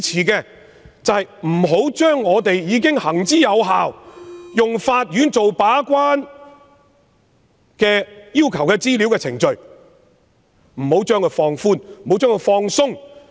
然而，對於我們行之有效、由法院把關的要求資料程序，我不支持放寬及放鬆。